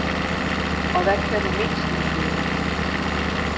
Og hvad kan du mindst lide ved ham?